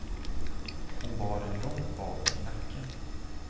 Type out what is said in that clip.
Hon bar den långt bak i nacken.